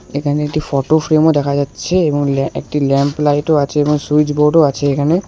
এখানে একটি ফটোফ্রেমও দেখা যাচ্ছে এবং ল্যা একটি ল্যাম্প লাইটও আছে এবং সুইচবোর্ডও আছে এখানে।